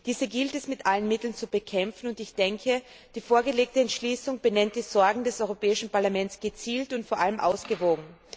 Diese gilt es mit allen Mitteln zu bekämpfen, und ich denke, die vorgelegte Entschließung benennt die Sorgen des Europäischen Parlaments gezielt und vor allem ausgewogen.